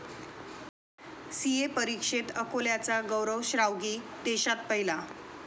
CA परीक्षेत अकोल्याचा गौरव श्रावगी देशात पहिला